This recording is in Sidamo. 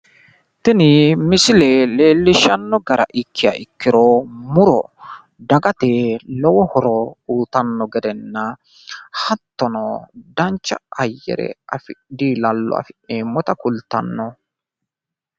Tini misile leellishshanno gara ikkiha ikkiro, muro dagate lowo horo uuyitanno gedena, hattono dancha ayyare diilallo afi'neemmota kultanno.